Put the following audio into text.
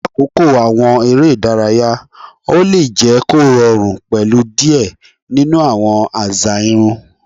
Lakoko awọn ere idaraya, o le jẹ korọrun pẹlu diẹ ninu awọn aza irun